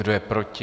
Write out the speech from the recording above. Kdo je proti?